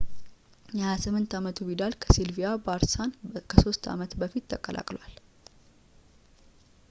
የ28 አመቱ ቪዳል ከሲልቪያ ባርሳን ከሶስት አመት በፊት ተቀላቅሏል